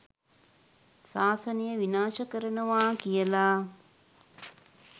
ශාසනය විනාශ කරනවා කියලා